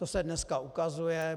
To se dneska ukazuje.